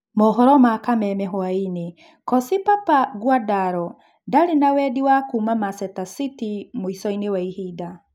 (Mohoro ma kameme hwaĩnĩ) Koci Papa Nguandaro ndarĩ na wendi wa kuuma Macheta City mũicoĩni wa ihinda.